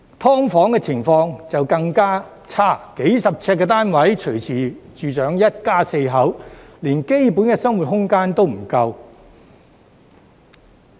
"劏房"情況便更差，數十平方呎的單位隨時住上一家四口，連基本的生活空間也不夠。